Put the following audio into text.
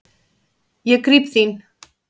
Ég gríp þín.